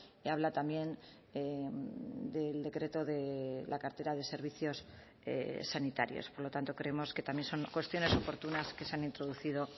y habla también del decreto de la cartera de servicios sanitarios por lo tanto creemos que también son cuestiones oportunas que se han introducido